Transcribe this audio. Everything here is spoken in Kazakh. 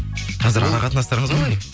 қазір ара қатынастырыңыз қалай